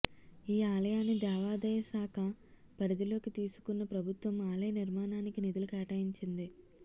ఈ ఆలయాన్ని దేవాదాయ శాఖ పరిధిలోకి తీసుకున్న ప్రభుత్వం ఆలయ నిర్మాణానికి నిధులు కేటాయించింది